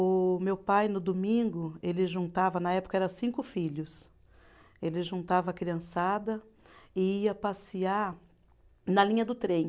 O meu pai, no domingo, ele juntava, na época era cinco filhos, ele juntava a criançada e ia passear na linha do trem.